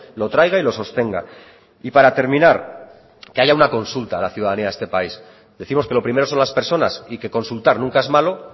lo traiga y lo sostenga y para terminar que haya una consulta a la ciudadanía de este país decimos que lo primero son las personas y que consultar nunca es malo